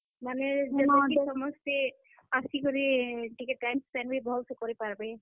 ମାନେ, ଯେନ କି ସମସ୍ତେ, ଆସି କରି ଟିକେ time spend ବି ଭଲ୍ ସେ କରିପାରବେ।